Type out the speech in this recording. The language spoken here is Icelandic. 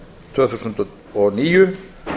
tvö þúsund og níu